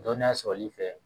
Dɔnniya sɔrɔli fɛ